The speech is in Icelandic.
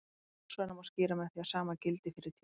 Ljósfræðina má skýra með því að sama gildi fyrir tíma.